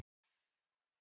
Broddi: En þær eru færri.